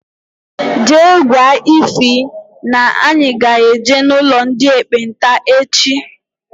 Jee gwa Ịfy na-anyi ga-eje n' ụlọ ndị ekpenta echi!!